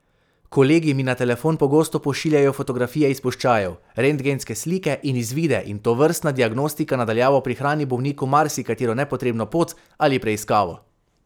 Kolegi mi na telefon pogosto pošiljajo fotografije izpuščajev, rentgenske slike in izvide in tovrstna diagnostika na daljavo prihrani bolniku marsikatero nepotrebno pot ali preiskavo.